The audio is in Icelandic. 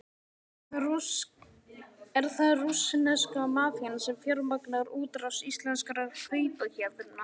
Er það rússneska mafían sem fjármagnar útrás íslenskra kaupahéðna?